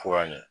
Fo ka ɲɛ